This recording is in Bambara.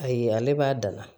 Ayi ale b'a da la